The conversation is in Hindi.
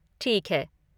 ठीक है।